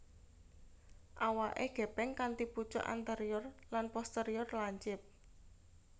Awaké gèpèng kanthi pucuk anterior lan posterior lancip